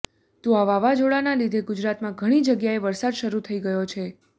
તો આ વાવાઝોડાને લીધે ગુજરાતમાં ઘણી જગ્યાએ વરસાદ શરૂ થઈ ગયો છે